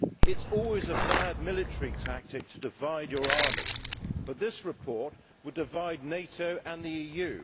It is always a bad military tactic to divide your army, but this report would divide NATO and the EU.